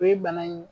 O ye bana in ye